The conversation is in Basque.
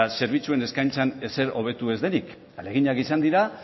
zerbitzuen eskaintzan ezer hobetu ez denik ahaleginak izan dira